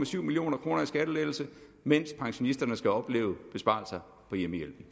to million kroner i skattelettelse mens pensionisterne skal opleve besparelser på hjemmehjælpen